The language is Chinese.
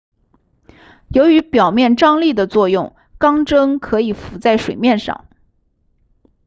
由于表面张力的作用钢针可以浮在水面上